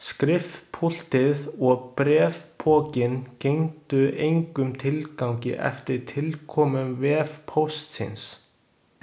Skrifpúltið og bréfpokinn gengdu engum tilgangi eftir tilkomu vefpóstsins.